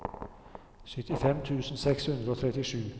syttifem tusen seks hundre og trettisju